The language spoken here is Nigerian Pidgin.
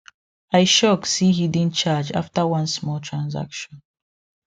i shock see hidden charge after one small transaction